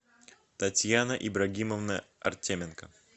татьяна ибрагимовна артеменко